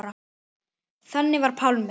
Þannig var Pálmi.